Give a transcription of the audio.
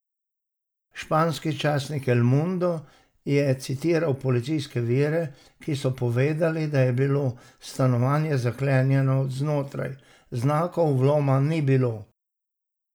Španski časnik El Mundo je citiral policijske vire, ki so povedali, da je bilo stanovanje zaklenjeno od znotraj, znakov vloma ni bilo.